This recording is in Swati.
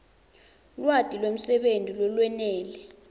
lwati lwemsebenti lolwenele